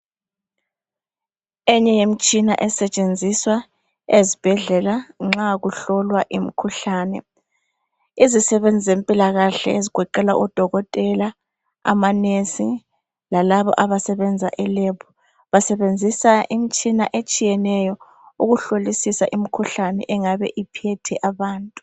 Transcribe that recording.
Omunye yemtshina esetshenziswa ezibhedlela nxa kuhlolwa imikhuhlane izisebenzi zempilakahle ezigoqela odokotela amanesi lalabo abo abasebenza eLab basebenzisa imitshina etshiyeneyo ukuhlolisisa imikhuhlane engabe iphethe abantu